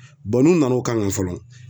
n'u nana o kan kan fɔlɔ